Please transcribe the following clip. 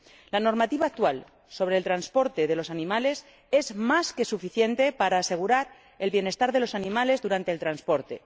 La normativa actual sobre el transporte de los animales es más que suficiente para asegurar el bienestar de los animales durante el transporte.